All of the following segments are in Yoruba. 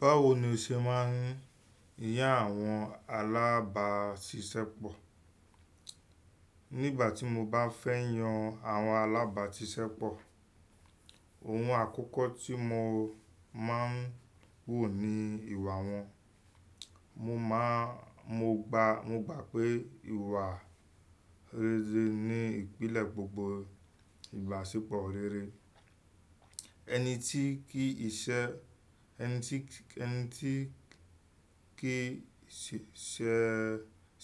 Báwo ni o ṣe máa ń yan àwọn alábàáṣiṣẹ́pọ̀? Nígbà tí mo bá fẹ́ yan àwọn alábàáṣiṣẹ́pọ̀, ohun àkọ́kọ́ tí mo máa ń wò ni ìwà wọn. Mo gba pé ìwà rere ni ìpìlẹ̀ gbogbo ìbáṣepọ̀ rere. Ẹni tí kì í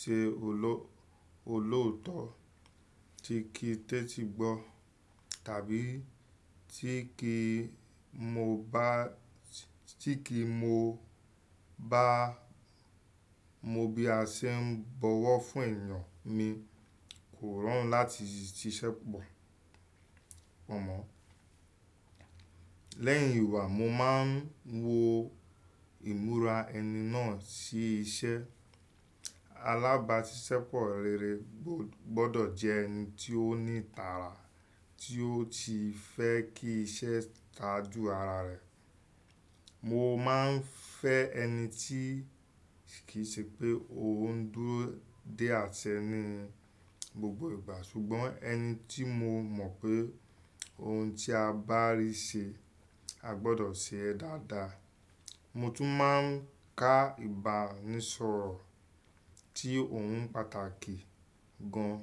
ṣe olóòótọ́, tí kì í tẹ́tí gbọ́, tàbí tí kì í mo bí a ṣe ń bọwọ́ fún èèyàn mi kò rọrùn láti ṣiṣẹ́pọ̀ mọ́. Lẹ́yìn ìwà, mo máa ń wo ìmúra ẹni náà sí iṣẹ́. Alábàáṣiṣẹ́pọ̀ rere gbọ́dọ̀ jẹ ẹni tí ó ní ìtara, tí ó ti fẹ́ kí iṣẹ́ tajù ara rẹ̀. Mo máa ń fẹ́ ẹni tí kì í ṣe pé òun dúró dé a tẹ́ni gbogbo ìgbà, ṣùgbọ́n ẹni tí mo mọ̀ pé ohun tí a bá rí ṣe, a gbọ́dọ̀ ṣe ẹ́ dáadáa. Mo tún máa ń ka ìbánisọ̀rọ̀ tí òun pàtàkì gan.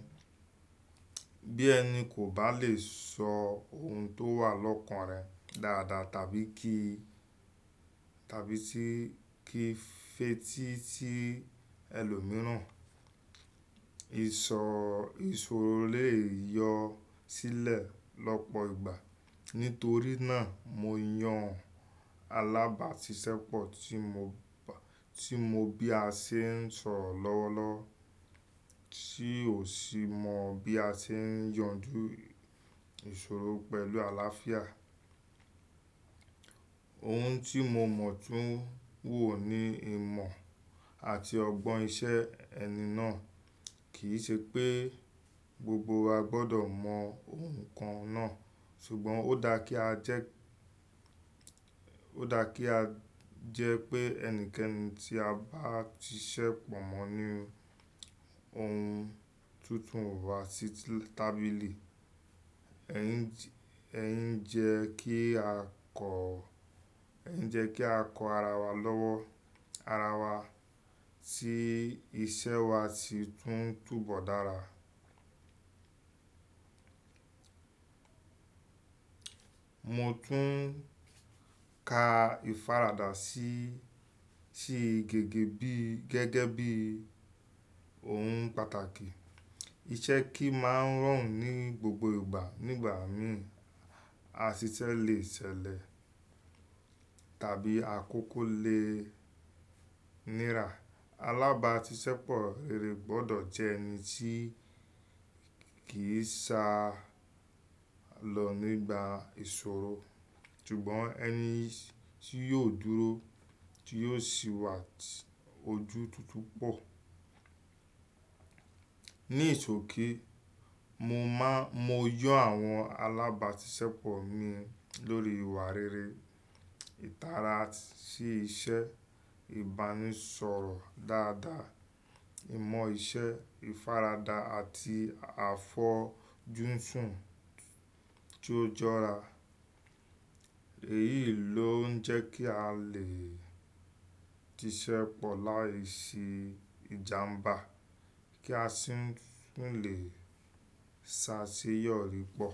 Bí ẹni kò bá lè sọ ohun tó wà lọ́kàn rẹ̀ dáadáa tàbí kí ì fetí sí ẹlòmíràn, ìṣòro lè yọ sílẹ̀ lọ́pọ̀ ìgbà. Nítorí náà, mo yan alábàáṣiṣẹ́pọ̀ to mo bí a ṣe ń sọ̀rọ̀ lọ́wọ́lọ́wọ́, tí ó sì mọ bí a ṣe ń yanjú ìṣòro pẹ̀lú àlàáfíà. Ohun tí mo mọ̀ tún wò ni ìmọ̀ àti ọgbọ́n iṣẹ́ ẹni náà. Kì í ṣe pé gbogbo wa gbọ́dọ̀ mọ ohun kan náà, ṣùgbọ́n ó dáa kí a jẹ́ pé ẹnikẹ́ni tí a bá ti siṣẹ́ pọ̀ mọ́ ní ohun tuntun wá sí tábìlì. Ẹ̀ ń jẹ́ kí a kọ́ ara wa lọ́wọ́, tí iṣẹ́ wa sì tún túbọ̀ dára. Mo tún ka ìfaradà sí gẹ́gẹ́ bí ohun pàtàkì. Iṣẹ́ kì í máa ń rọrùn ní gbogbo ìgbà. Nígbà mìíràn, àṣìṣẹ́ lè ṣẹlẹ̀ tàbí àkókò lè nira. Alábàáṣiṣẹ́pọ̀ rere gbọ́dọ̀ jẹ ẹni tí kì í sa lọ nígbà ìṣòro, ṣùgbọ́n ẹni tí yóò dúró, tí yóò sì wà ojútu tu pọ̀. Ní ìṣókè, mo yàn àwọn alábàáṣiṣẹ́pọ̀ mi lórí ìwà rere, ìtara sí iṣẹ́, ìbánisọ̀rọ̀ dáadáa, ìmọ̀ iṣẹ́, ìfaradà àti àfọjú fún tí ó jọra. Èyí ló ń jẹ́ kí a lè ṣiṣẹ́pọ̀ láìsí ìjàmbá kí a sì tún lè ṣáṣeyọrí pọ̀.